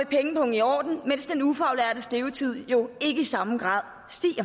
pengepungen i orden mens den ufaglærtes levetid jo ikke stiger i samme grad